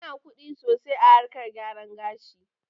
Ana kuɗi sosai a harkar gyaran gashi